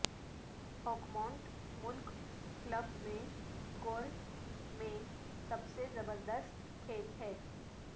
Oakmont ملک club میں golf میں سب سے زبردست کھیل ہے